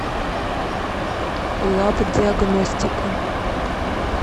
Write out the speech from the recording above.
лабдиагностика